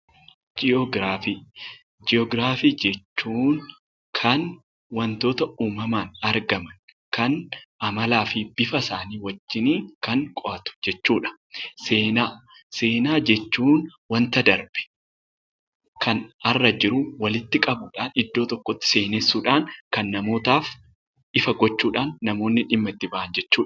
Ji'ogiraafii jechuun kan wantoota uumamaan argamu kan amalaa fi bifasaanii wajjiniin kan qo'atu jechuudha. Seenaa jechuun waanta darbe, kan har'a jiru walitti qabuudhaan, iddoo tokkotti seenessuudhaan, kan namootaaf ifa gochuudhaan namoonni dhimma itti bahan jechuudha.